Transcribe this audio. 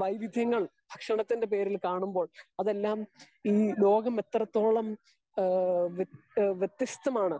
വൈവിദ്യങ്ങൾ ഭക്ഷണത്തിന്റെ പേരിൽ കാണുമ്പോൾ അതെല്ലാം ഈ ലോകം എത്രെ ത്തോളം ഏ വെത്യാ വ്യത്യസ്ഥമാണ്